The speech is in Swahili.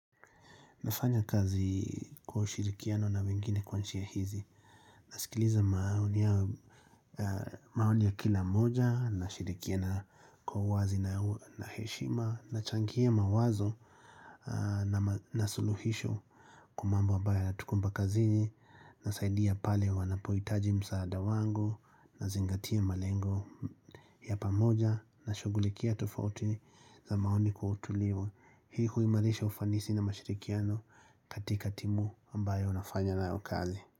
Nafanya kazi kwa hushirikiano na wengine kwa njia hizi. Nasikiliza maoni ya maoni ya kila moja na shirikiana kwa wazi na heshima na changia mawazo na suluhisho kwa mambo ambayo yanatukumba kazini na saidia pale wanapoitaji msaada wangu na zingatia malengo ya pamoja na shugulikia tufauti za maoni kwa utulivu. Hii huimalisha ufanisi na mashirikiano katika timu ambayo nafanya nayo kazi.